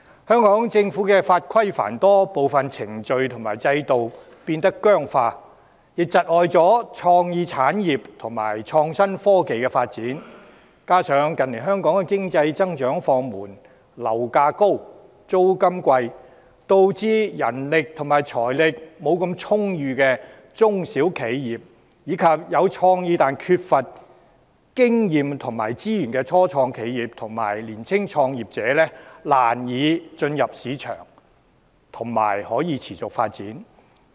香港的法規繁多，部分程序和制度變得僵化，窒礙了創意產業和創新科技的發展，加上近年經濟增長放緩，樓價高、租金貴，導致人力和財力不大充裕的中小企業、有創意但缺乏經驗和資源的初創企業，以及年輕創業者難以進入市場並持續發展。